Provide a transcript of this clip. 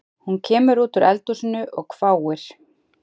Hún kemur út úr eldhúsinu og hváir